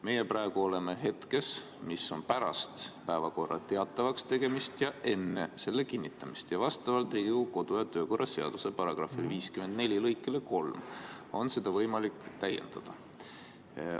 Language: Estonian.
Meie praegu oleme hetkes, mis on pärast päevakorra teatavaks tegemist ja enne selle kinnitamist ning vastavalt Riigikogu kodu- ja töökorra seaduse § 54 lõikele 3 on seda võimalik täiendada.